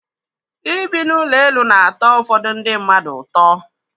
Ịbi n'ụlọ elu na-atọ ụfọdụ ndị mmadụ ụtọ.